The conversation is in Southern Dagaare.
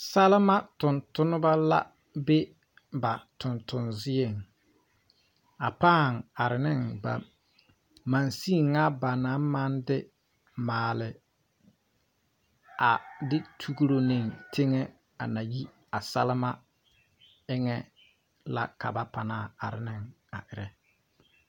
Salma tontonema la be ba tontonzieŋ. A pᾱᾱ are ne machine ŋa ba naŋ maŋ de maale, a de tuuro ne teŋe a na yi a salma eŋa la ka ba panaa are ne.